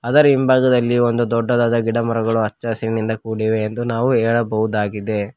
ಅದರ ಹಿಂಭಾಗದಲ್ಲಿ ಒಂದು ದೊಡ್ಡದಾದ ಗಿಡಮರಗಳು ಹಚ್ಚ ಹಸಿರಿನಿಂದ ಕೂಡಿವೆ ಎಂದು ನಾವು ಹೇಳಬಹುದಾಗಿದೆ.